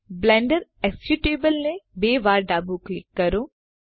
Blender executable ને બે વાર ડાબું ક્લિક કરો